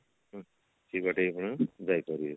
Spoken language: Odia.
ସେଇବାଟେ ପୁଣି ଯାଇପାରିବେ